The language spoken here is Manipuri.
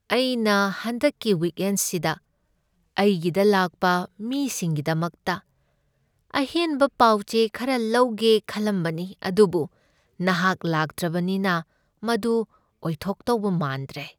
ꯑꯩꯅ ꯍꯟꯗꯛꯀꯤ ꯋꯤꯛꯑꯦꯟꯁꯤꯗ ꯑꯩꯒꯤꯗ ꯂꯥꯛꯄ ꯃꯤꯁꯤꯡꯒꯤꯗꯃꯛꯇ ꯑꯍꯦꯟꯕ ꯄꯥꯎꯆꯦ ꯈꯔ ꯂꯧꯒꯦ ꯈꯜꯂꯝꯕꯅꯤ ꯑꯗꯨꯕꯨ ꯅꯍꯥꯛ ꯂꯩꯇ꯭ꯔꯕꯅꯤꯅ ꯃꯗꯨ ꯑꯣꯏꯊꯣꯛꯇꯧꯕ ꯃꯥꯟꯗ꯭ꯔꯦ꯫